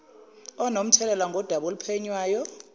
onomthelela ngodaba oluphenywayo